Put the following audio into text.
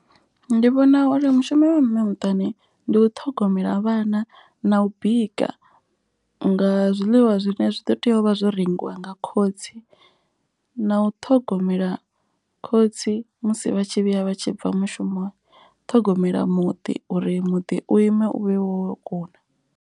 Ndi vhona uri mushumo wa mme muṱani ndi u ṱhogomela vhana na u bika nga zwiḽiwa. Zwine zwi ḓo tea u vha zwo rengiwa nga khotsi na u ṱhogomela khotsi musi vha tshi vhuya vha tshi bva mushumo. Ṱhogomela muḓi uri muḓi u ime u vhe wo kuna.